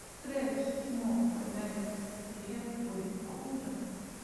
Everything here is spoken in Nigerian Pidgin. stretch small for night dey help body cool down